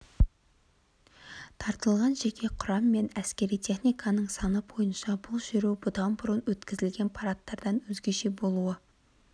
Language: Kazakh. тартылған жеке құрам мен әскери техниканың саны бойынша бұл шеру бұдан бұрын өткізілген парадтардан өзгеше болуы